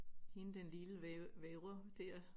Hende den lille vævre dér